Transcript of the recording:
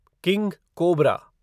king cobra